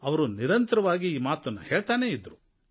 ಅವರು ನಿರಂತರವಾಗಿ ಈ ಮಾತನ್ನು ಹೇಳ್ತಾನೇ ಇದ್ದರು